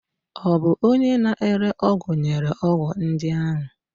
Ọ bụ onye na-ere ọgwụ nyere ọgwụ ndị ahụ?